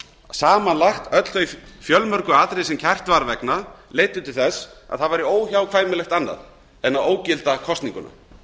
samanlagt öll þau fjölmörgu atriði sem kært var vegna leiddu til þess að það væri óhjákvæmilegt annað en ógilda kosninguna